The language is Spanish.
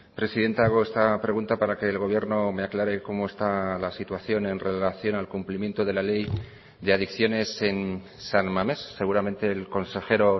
presidenta hago esta pregunta para que el gobierno me aclare cómo está la situación en relación al cumplimiento de la ley de adicciones en san mamés seguramente el consejero